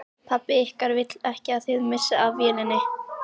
Pabbi ykkar vill ekki að þið missið af vélinni